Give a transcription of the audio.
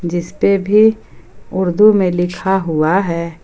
जिस पे भी उर्दू में लिखा हुआ है।